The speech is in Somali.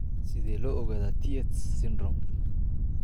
Sidee loo ogaadaa Tietz syndrome?